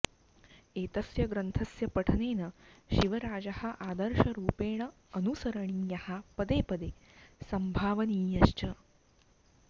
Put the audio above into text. एतस्य ग्रन्थस्य पठनेन शिवराजः आदर्शरुपेण अनुसरणीयः पदे पदे सम्भावनीयश्च्